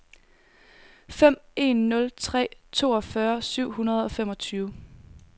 fem en nul tre toogfyrre syv hundrede og femogtyve